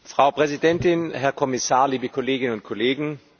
Frau Präsidentin, Herr Kommissar, liebe Kolleginnen und Kollegen!